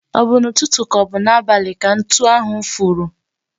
O bụ n'ụtụtụ ka ọ bụ n'abalị ka ntu ahu furu?